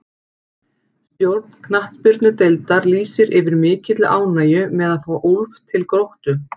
Stjórn knattspyrnudeildar lýsir yfir mikilli ánægju með að fá Úlf til Gróttu.